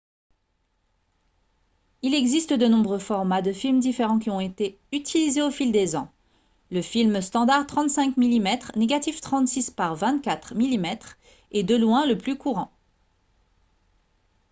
il existe de nombreux formats de films différents qui ont été utilisés au fil des ans. le film standard 35 mm négatif 36 par 24 mm est de loin le plus courant